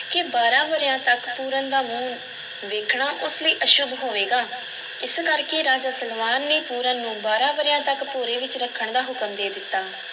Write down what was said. ਕਿ ਬਾਰਾਂ ਵਰ੍ਹਿਆਂ ਤੱਕ ਪੂਰਨ ਦਾ ਮੂੰਹ ਵੇਖਣਾ ਉਸ ਲਈ ਅਸ਼ੁਭ ਹੋਵੇਗਾ, ਇਸ ਕਰ ਕੇ ਰਾਜਾ ਸਲਵਾਨ ਨੇ ਪੂਰਨ ਨੂੰ ਬਾਰਾਂ ਵਰ੍ਹਿਆਂ ਤੱਕ ਭੋਰੇ ਵਿੱਚ ਰੱਖਣ ਦਾ ਹੁਕਮ ਦੇ ਦਿੱਤਾ।